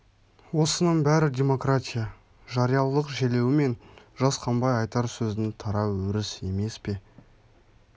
осының бәрі демократия жариялылық желеуімен жасқанбай айтар сөздің тарау өріс емес пе